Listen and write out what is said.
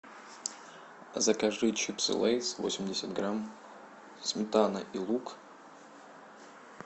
закажи чипсы лейс восемьдесят грамм сметана и лук